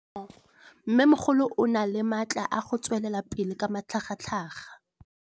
Mmêmogolo o na le matla a go tswelela pele ka matlhagatlhaga.